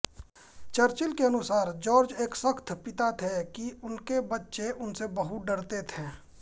Churchill के अनुसार George एक सख्त पिता थे कि उनके बच्चे उनसे बहुत डरते थे